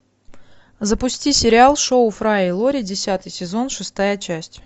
запусти сериал шоу фрая и лори десятый сезон шестая часть